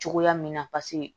Cogoya min na paseke